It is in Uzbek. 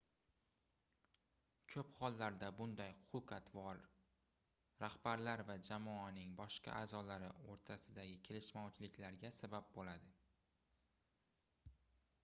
koʻp hollarda bunday xulq-atvor rahbarlar va jamoaning boshqa aʼzolari oʻrtasidagi kelishmovchiliklarga sabab boʻladi